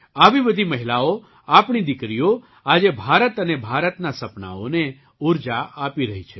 આવી બધી મહિલાઓ આપણી દીકરીઓ આજે ભારત અને ભારતનાં સપનાંઓને ઊર્જા આપી રહી છે